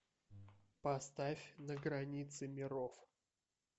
поставь на границе миров